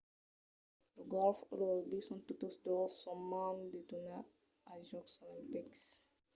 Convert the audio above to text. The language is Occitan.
lo gòlf e lo rugbi son totes dos son a mand de tornar als jòcs olimpics